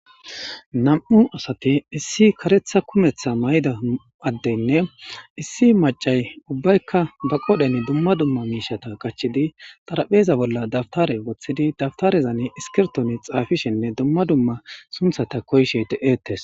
Nam'u asati issi karetha kumetha mayida adeynne issi macay ubbayka ba qodheni dumma dumma mishata qachidi xarapheza bolla dawutare wothidi dawutarezani iskirtoni xafishenne dumma dumma sunthata koyishe de'etesi.